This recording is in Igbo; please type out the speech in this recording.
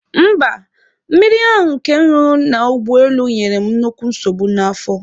Mba, mmiri ahụ nke m ṅụrụ n'ụgbọelu nyere m nnukwu nsogbu n'afọ